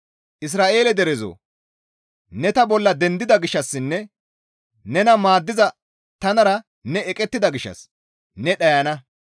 «Isra7eele derezoo! Ne ta bolla dendida gishshassinne nena maaddiza tanara ne eqettida gishshas ne dhayana;